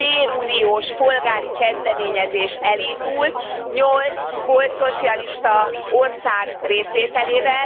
béruniós polgári kezdeményezés elindult nyolc volt szocialista ország részvételével.